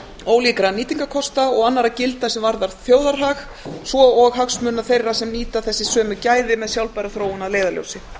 ólíkra nýtingarkosta og annarra gilda sem varða þjóðarhag svo og hagsmuna þeirra sem nýta þessi sömu gæði með sjálfbæra þróun að leiðarljósi